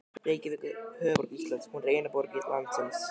Reykjavík er höfuðborg Íslands. Hún er eina borg landsins.